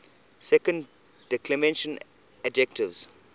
second declension adjectives